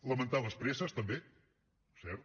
lamentar les presses també cert